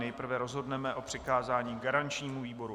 Nejprve rozhodneme o přikázání garančnímu výboru.